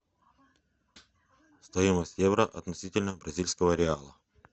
стоимость евро относительно бразильского реала